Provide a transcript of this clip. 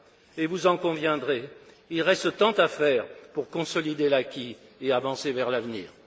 Et vous en conviendrez, il reste tant à faire pour consolider l'acquis et avancer vers l'avenir.